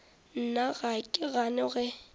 nna ga ke gane ge